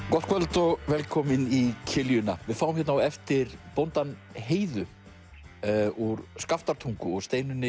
gott kvöld og velkomin í kiljuna við fáum hérna á eftir bóndann Heiðu úr Skaftártungu og Steinunni